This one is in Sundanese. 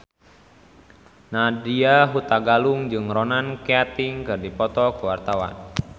Nadya Hutagalung jeung Ronan Keating keur dipoto ku wartawan